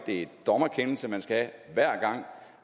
det er en dommerkendelse man skal have hver gang